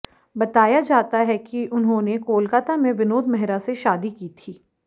बताया जाता है कि उन्होंने कोलकाता में विनोद मेहरा से शादी की थी